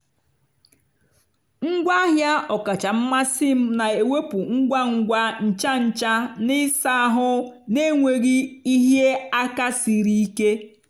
ngwaahịa ọkacha mmasị m na-ewepụ ngwa ngwa ncha ncha na ịsa ahụ na-enweghị ịhịa aka siri ike.